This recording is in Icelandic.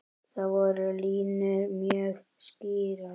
Þar voru línur mjög skýrar.